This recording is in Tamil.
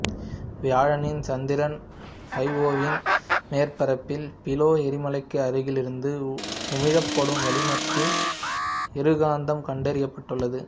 வியாழனின் சந்திரன் ஐஓவின் மேற்பரப்பில் பீலே எரிமலைக்கு அருகில் இருந்து உமிழப்படும் வளிமத்தில் இருகந்தகம் கண்டறியப்பட்டுள்ளது